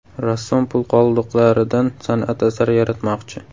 Rassom pul qoldiqlaridan san’at asari yaratmoqchi.